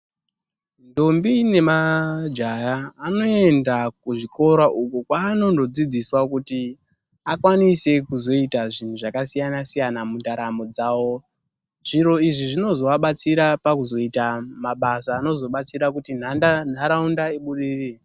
Ndombi nemajaya zvinoendawo kuzvikora uku kwavanondodzidziswa kuti akwanise kuzoita zvinhu zvakasiyana siyana mundaramo dzavo zviro izvi zvinozovabatsira pakuita mabasa anozoita kuti ndaraunda ibudirire